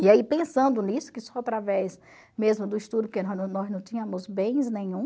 E aí pensando nisso, que só através mesmo do estudo, porque nós não tínhamos bens nenhum,